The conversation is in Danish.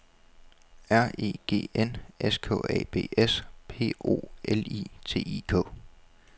R E G N S K A B S P O L I T I K